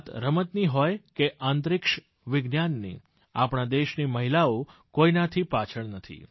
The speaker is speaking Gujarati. વાત રમતની હોય કે હોય અંતરિક્ષવિજ્ઞાનની આપણા દેશની મહિલાઓ કોઈનાથી પાછળ નથી